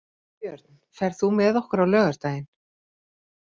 Ingibjörn, ferð þú með okkur á laugardaginn?